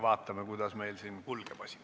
Vaatame, kuidas see asi meil siin kulgeb.